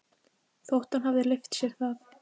Þótt hann hefði leyft sér það.